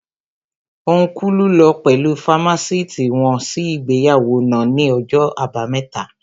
Ọ́nkùlù lọ pẹ̀lú fámásìtì wọn sí ìgbéyàwó náà ní ọjọ́ àbámẹ́ta